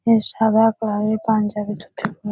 এই সাদা পায়ে পাঞ্জাবিটা ঠিক না--